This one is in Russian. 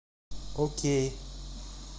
окей